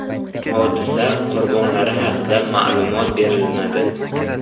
Hodisa qurbonlari haqida ma’lumot berilmadi.